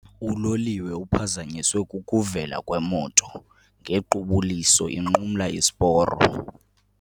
Uloliwe uphazanyiswe kukuvela kwemoto ngequbuliso inqumla isiporo.